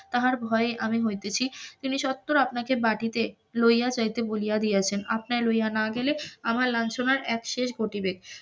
তাহার ভয়ে আমি হইতেছি, তিনি স্বত্বর আপনাকে বাটিতে লইয়া যাইতে বলিয়া দিয়াছেন, আপনারে লইয়া না গেলে আমার লাঞ্ছনার একশেষ ঘটিবে,